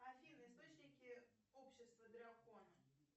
афина источники общества дракона